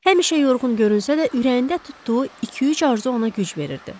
Həmişə yorğun görünsə də, ürəyində tutduğu iki-üç arzu ona güc verirdi.